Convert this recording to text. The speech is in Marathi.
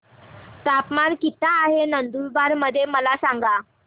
तापमान किता आहे नंदुरबार मध्ये मला सांगा